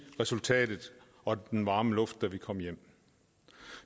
resultatet og den varme luft da vi kom hjem